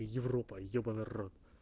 европа ебанна рот